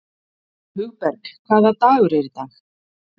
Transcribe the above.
Hugberg, hvaða dagur er í dag?